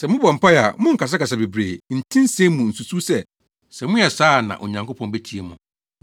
Sɛ mobɔ mpae a, monnkasakasa bebree, nti nsɛm mu nsusuw sɛ, sɛ moyɛ saa a na Onyankopɔn betie mo.